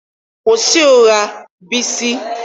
Kwụsị ịgha Bisi!